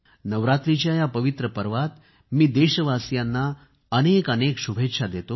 नवरात्राच्या या पवित्र पर्वात मी देशवासियांना अनेकअनेक शुभेच्छा देतो